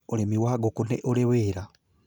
Ũrĩmi wa ngũkũ nĩ ũrĩ wĩra